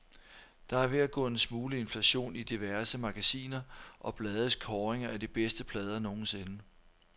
Der er ved at gå en smule inflation i diverse magasiner og blades kåringer af de bedste plader nogensinde.